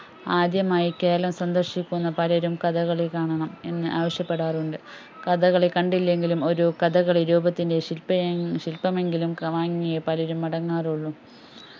ആദ്യമായി കേരളം സന്ദർശിക്കുന്ന പലരും കഥകളി കാണണം എന്നു ആവിശ്യപ്പെടാറുണ്ട് കഥകളികണ്ടില്ലെങ്കിലും ഒരു കഥകളിരൂപത്തിൻറെ ശിൽപ ശിൽപമെങ്കിലും വാങ്ങിയേ പലരും മടങ്ങാറുള്ളു